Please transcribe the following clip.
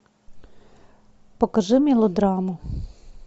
покажи мелодраму